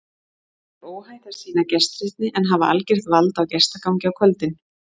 Því er óhætt að sýna gestrisni en hafa algert vald á gestagangi á kvöldin.